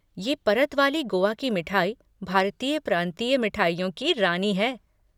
ये परत वाली गोआ कि मिठाई भारतीय प्रांतीय मिठाइयों की रानी है।